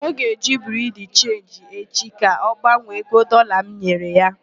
Ọ ga-eje Biriu de Chenji echi ka ọ gbanwee ego Dọlaa m nyere ya.